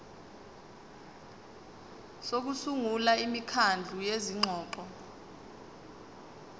sokusungula imikhandlu yezingxoxo